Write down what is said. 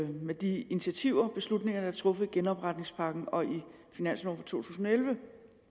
med de initiativer og beslutninger der er truffet i genopretningspakken og i finansloven tusind og elleve